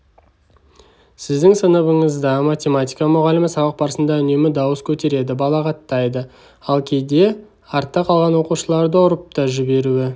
сіздің сыныбыңызда математика мұғалімі сабақ барысында үнемі дауыс көтереді балағаттайды ал кейде артта қалған оқушыларды ұрып та жіберуі